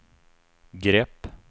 grepp